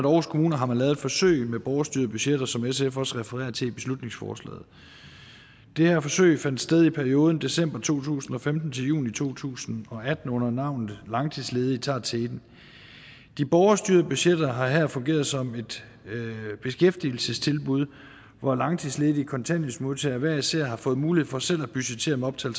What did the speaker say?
aarhus kommune har lavet forsøg med borgerstyrede budgetter som sf også refererer til i beslutningsforslaget det her forsøg fandt sted i perioden december to tusind og femten til juni to tusind og atten under navnet langtidsledige tager teten de borgerstyrede budgetter har her fungeret som et beskæftigelsestilbud hvor langtidsledige kontanthjælpsmodtagere hver især har fået mulighed for selv at budgettere med op til